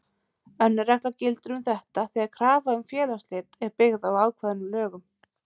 Önnur regla gildir um þetta þegar krafa um félagsslit er byggð á ákvæðum í lögum.